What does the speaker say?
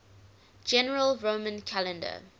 general roman calendar